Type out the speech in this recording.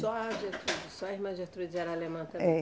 Só a Gertrudes, só a irmã Gertrudes era alemã também? É